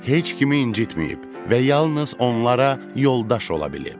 Heç kimi incitməyib və yalnız onlara yoldaş ola bilib.